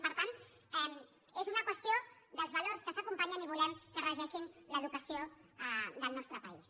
i per tant és una qüestió dels valors que s’acompanyen i volem que regeixin l’educació del nostre país